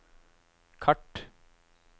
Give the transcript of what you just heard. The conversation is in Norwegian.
kart